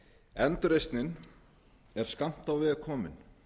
endurreisnin er skammt á veg komin